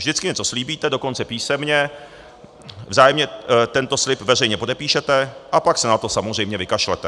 Vždycky něco slíbíte, dokonce písemně, vzájemně tento slib veřejně podepíšete a pak se na to samozřejmě vykašlete.